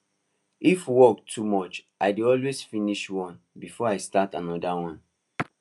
if work too much i dey always finish one before i start anoda one